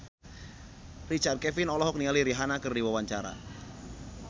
Richard Kevin olohok ningali Rihanna keur diwawancara